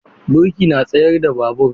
Birki na tsayar da babur.